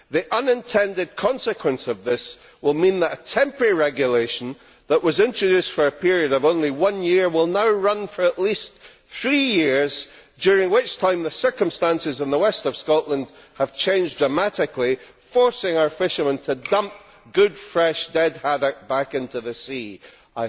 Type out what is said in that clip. The unintended consequence of this will mean that a temporary regulation that was introduced for a period of only one year will now run for at least three years, during which time the circumstances in the west of Scotland have changed dramatically, forcing our fishermen to dump good fresh haddock back into the sea, dead.